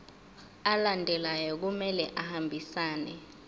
alandelayo kumele ahambisane